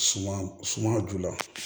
Suma suma ju la